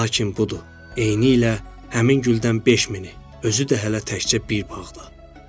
Lakin budur, eynilə həmin güldən beş minə, özü də hələ təkcə bir bağda.